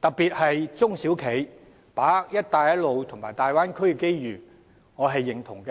特別是中小企，把握"一帶一路"和大灣區的機遇，我對此表示認同。